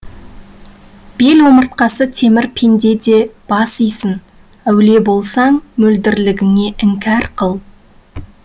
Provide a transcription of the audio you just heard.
бел омыртқасы темір пенде де бас исін әулие болсаң мөлдірлігіңе іңкәр қыл